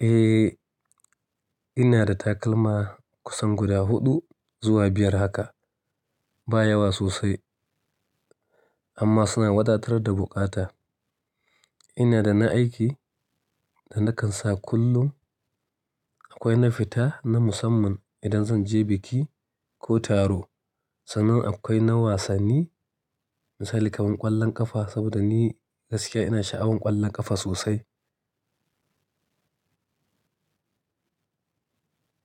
Eh, ina da takalma kusan guda huɗu zuwa biyar haka. Ba yawa sosai amma suna wadatar da buƙata. Ina da na aiki da na kan sa kullum. Akwai na fita na musamman idan zan je biki ko taro. Sannan akwai na wasanni, misali kamar ƙwallon ƙafa saboda ni gaskiya ina sha'awan ƙwallon ƙafa sosai.